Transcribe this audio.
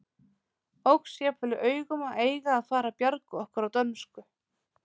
Óx jafnvel í augum að eiga að fara að bjarga okkur á dönsku.